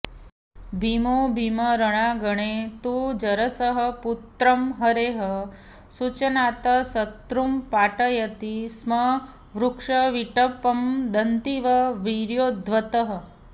भीमो भीमरणाङ्गणे तु जरसः पुत्रं हरेः सूचनात् शत्रुं पाटयति स्म वृक्षविटपं दन्तीव वीर्योद्धतः